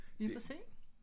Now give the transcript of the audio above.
Vi får se